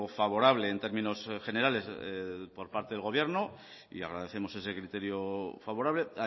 favorable en términos generales por parte del gobierno y agradecemos ese criterio favorable